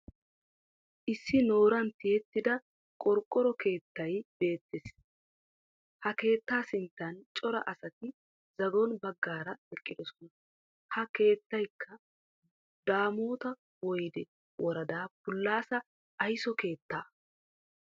Issi nooran tiyettida qorqqoro keettay beettes. Ha keettaa sinttan cora asati zagon baggaara eqqidosona. Ha keettayikka daamot woyide woradaa polise ayiso keettaa.